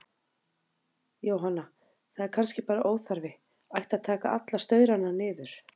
Jóhanna: Það er kannski bara óþarfi, ætti að taka alla staurana niður?